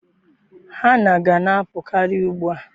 Hanna ga na-apụkarị ugbu a.